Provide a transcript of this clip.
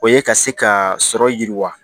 O ye ka se ka sɔrɔ yiriwa